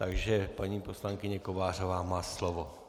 Takže paní poslankyně Kovářová má slovo.